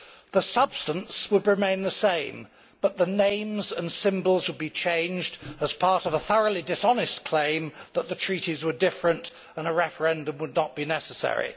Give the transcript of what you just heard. The substance would remain the same, but the names and symbols would be changed as part of a thoroughly dishonest claim that the treaties were different and a referendum would not be necessary.